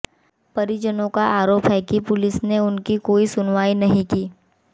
परिजनों का आरोप है कि पुलिस ने उनकी कोई सुनवाई नहीं की